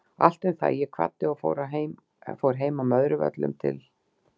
Allt um það, ég kvaddi og fór heim að Möðruvöllum til